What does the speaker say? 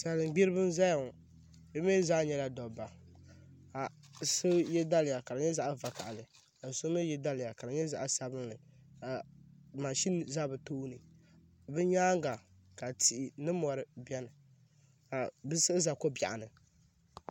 Salin gbiribi n ʒɛya ŋo bi mii zaa nyɛla dabba ka so yɛ daliya ka di nyɛ zaɣ vakaɣali ka so mii yɛ daliya ka di nyɛ zaɣ sabinli ka mashin ʒɛ ni tooni bi nyaanga ka tihi ni mori biɛni ka bi siɣi ʒɛ ko biɛɣu ni